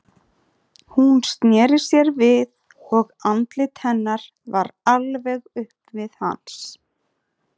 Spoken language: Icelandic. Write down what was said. Hún sneri sér við og andlit hennar var alveg upp við hans.